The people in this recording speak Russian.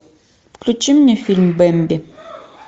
включи мне фильм бэмби